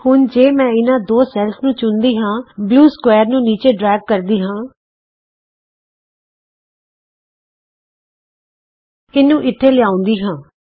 ਹੁਣ ਜੇ ਮੈਂ ਇਹਨਾਂ ਦੋ ਸੈਲਜ਼ ਨੂੰ ਚੁਣਦੀ ਹਾਂ ਅਤੇ ਫਿਰ ਨੀਲੇ ਚੋਕੋਰ ਨੂੰ ਨੀਚੇ ਡਰੈਗ ਕਰਦੀ ਹਾਂ ਇਹਨੂੰ ਇਥੇ ਲਿਆਉਂਦੀ ਹਾਂ